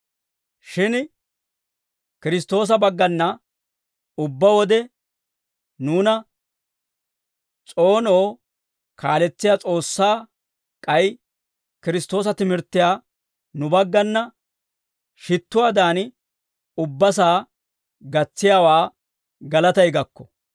Shin Kiristtoosa baggana ubbaa wode nuuna s'oonoo kaaletsiyaa S'oossaa, k'ay Kiristtoosa timirttiyaa nu baggana shittuwaadan, ubbasaa gatsiyaawaa galatay gakko.